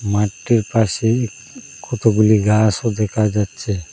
মাঠটির পাশেই কতগুলি গাসও দেখা যাচ্ছে।